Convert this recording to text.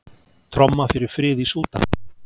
Tromma fyrir frið í Súdan